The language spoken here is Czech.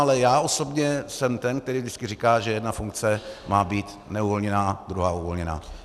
Ale já osobně jsem ten, který vždycky říká, že jedna funkce má být neuvolněná, druhá uvolněná.